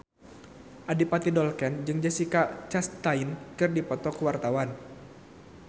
Adipati Dolken jeung Jessica Chastain keur dipoto ku wartawan